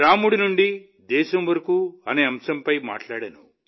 రాముడి నుండి దేశం వరకు అనే అంశంపై మాట్లాడాను